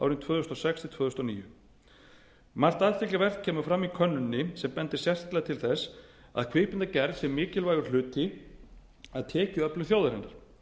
árin tvö þúsund og sex til tvö þúsund og níu margt athyglisvert kemur fram í könnuninni sem bendir sterklega til þess að kvikmyndagerð sé mikilvægur hluti af tekjuöflun þjóðarinnar